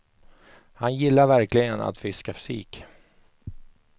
Han gillar verkligen att fiska sik.